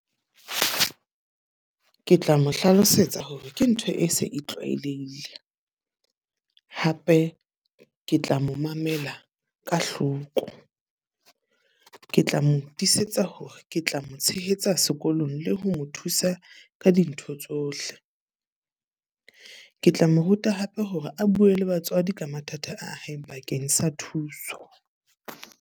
Ke tla mo hlalosetsa hore ke ntho e se e tlwaelehile. Hape ke tla mo mamela ka hloko. Ke tla mo tisetsa hore ke tla mo tshehetsa sekolong le ho mo thusa ka dintho tsohle. Ke tla mo ruta hape hore a bue le batswadi ka mathata a hae bakeng sa thuso.